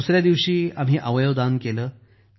दुसर्या दिवशी आम्ही अवयव दान केलं